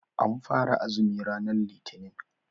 An fara azumi ranar Litinin.